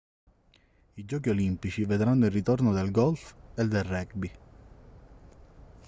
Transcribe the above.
i giochi olimpici vedranno il ritorno del golf e del rugby